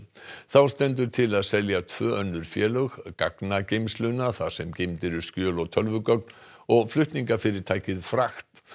þá stendur til að selja tvö önnur félög þar sem geymd eru skjöl og tölvugögn og flutningafyrirtækið fragt